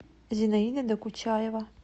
зинаида докучаева